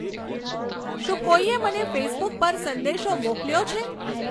શું કોઈએ મને ફેસબુક પર સંદેશો મોકલ્યો છે